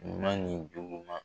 Ɲuman ni juguman.